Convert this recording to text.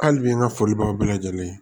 Hali bi n ka foli b'aw bɛɛ lajɛlen